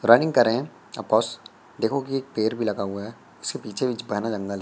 running कर रहे हैं ऑफ कोर्स देखो कि एक पैर भी लगा हुआ है उसके पीछे भी जंगल --